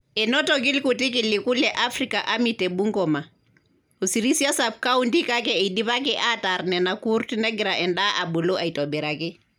Enotoki irkuti kiliku le Afrika army te Bungoma , o sirisia sub countykake eidipaki aatarr nena kurt negira endaa abulu aitobiraki.